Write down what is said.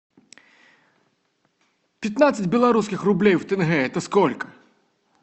пятнадцать белорусских рублей в тенге это сколько